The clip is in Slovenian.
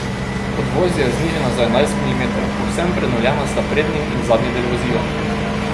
Podvozje je znižano za enajst milimetrov, povsem prenovljena sta prednji in zadnji del vozila.